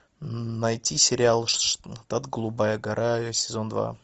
найти сериал штат голубая гора сезон два